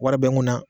Wari bɛ n kunna